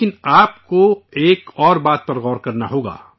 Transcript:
لیکن، آپ کو ایک اور بات پر غور کرنا ہوگا